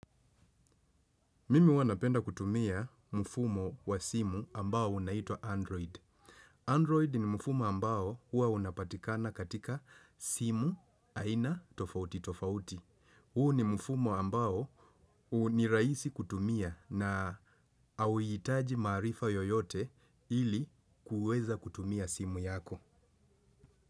Mimi huwa napenda kutumia mfumo wa simu ambao unaitwa Android. Android ni mfumo ambao hua unapatikana katika simu aina tofauti tofauti. Huu ni mfumo ambao huu ni rahisi kutumia na hauhitaji maarifa yoyote ili kuweza kutumia simu yako.